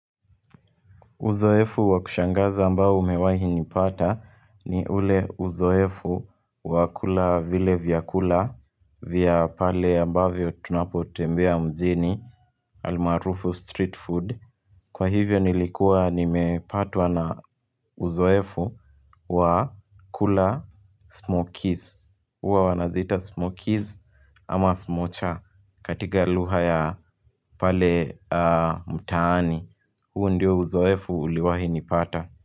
Uzoefu wa kushangaza ambao umewahi nipata ni ule uzoefu wa kula vile vyakula vya pale ambavyo tunapotembea mjini almaarufu street food. Kwa hivyo nilikuwa nimepatwa na uzoefu wa kula smokies. Huwa wanaziita smokies ama smocha katika lugha ya pale mtaani. Huo ndio uzoefu uliwahi nipata.